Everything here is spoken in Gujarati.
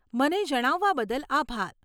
મને જણાવવા બદલ આભાર.